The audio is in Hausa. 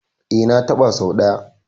E, na taɓa sau ɗaya.